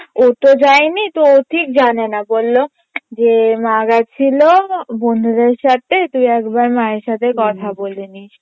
ও তো যায়নি তো ও ঠিক জানেনা বল্লো যে মা গেছিলো বন্ধুদের সাথে তুই একবার মায়ের সাথে কথা বলে নিস